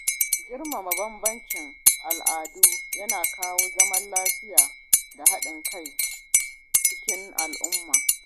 Girmama bambancin al’adu yana kawo zaman lafiya da haɗin kai cikin al-umma